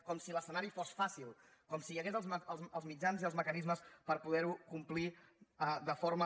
com si l’escenari fos fàcil com si hi haguessin els mitjans i els mecanismes per poder ho complir de forma